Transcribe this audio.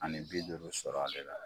Ani bi duuru sɔrɔ a de